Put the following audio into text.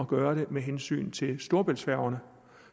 gøre det med hensyn til storebæltsfærgerne